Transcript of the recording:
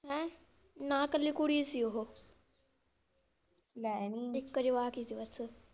ਹੈਂ, ਨਾ ਕੱਲੀ ਕੁੜੀ ਸੀ ਉਹ ਲੈ ਨੀ, ਇੱਕ ਜਵਾਕ ਹੀ ਸੀ ਬੱਸ।